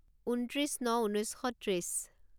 ঊনত্ৰিছ ন ঊনৈছ শ ত্ৰিছ